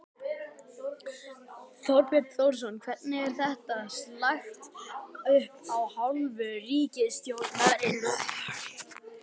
Þorbjörn Þórðarson: Hvernig var þetta lagt upp af hálfu ríkisstjórnarinnar?